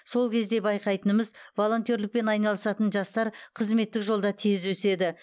сол кезде байқайтынымыз волонтерлікпен айналысатын жастар қызметтік жолда тез өседі